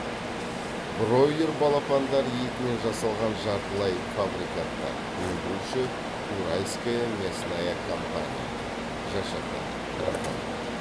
бройлер балапандары етінен жасалған жартылай фабрикаттар өндіруші уральская мясная компания жшқ рф